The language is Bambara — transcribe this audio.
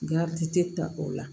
Gardi te ta o la